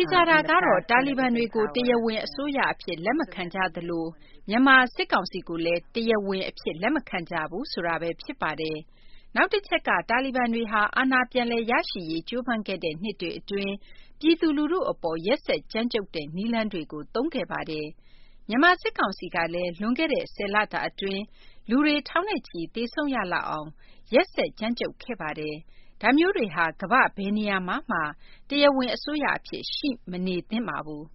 ေချာတာကတော့ တာဘီဘန်တွေကို တရားဝင်အစိုးရအဖြစ် လက်မခံကြသလို၊ မြန်မာစစ်ကောင်စီကိုလည်း တရားဝင်အဖြစ် လက်မခံကြဘူးဆိုတာပဲ ဖြစ်ပါတယ်။ နောက်တချက် တာလီဘန်တွေဟာ အာဏာပြန်လည်ရရှိရေး ကြိုးပမ်းခဲ့တဲ့ နှစ်တွေအတွင်း ပြည်သူလူထုအပေါ် ရက်စက်ကြမ်းကြုတ်တဲ့ နည်းလမ်းတွေကို ကျင့်သုံးခဲ့ပါတယ်။ မြန်မာစစ်ကောင်စီကလည်း လွန်ခဲ့တဲ့ ဆယ်လတာအတွင်း လူတွေထောင်နဲ့ချီ သေဆုံးရလောက်အောင် ရက်စက်ကြမ်းကြုတ်ခဲ့ပါတယ်။ ဒါမျိုးတွေဟာ ကမ္ဘာ့ဘယ်နေရာမှာမှ တရားဝင်အစိုးရအဖြစ် ရှိမနေသင့်ပါဘူး။